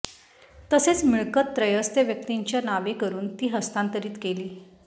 तसेच मिळकत त्रयस्थ व्यक्तीच्या नावे करून ती हस्तांतरीत केली